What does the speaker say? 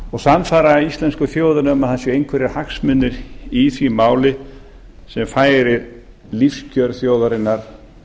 og sannfæra íslensku þjóðina um að það séu einhverjir hagsmunir í því máli sem færi lífskjör þjóðarinnar